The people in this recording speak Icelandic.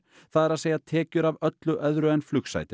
það er að segja tekjur af öllu öðru en